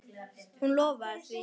Hún lofaði því.